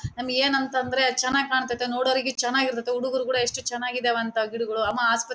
ನಮಿಗೆ ಏನಂತ ಅಂದ್ರೆ ಚನಾಗಿ ಕಾಣ್ತಾತ್ತೆ ನೋಡೋರಿಗೆ ಚನ್ನಾಗಿರ್ತತ್ತೆ ಹುಡುಗುರು ಕೂಡ ಎಷ್ಟು ಚನಾಗಿದಾವೆ ಅಂತೇ ಗಿಡಗಳು ಅಮ್ಮ ಆಸ್ಪ